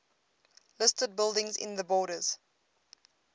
listed buildings in the borders